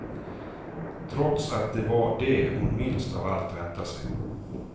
Trots att det var det hon minst av allt väntat sig.